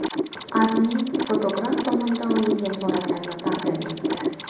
AdMe fotograf tomonidan olingan suratlarni taqdim etdi .